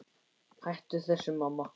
Hættu þessu, mamma!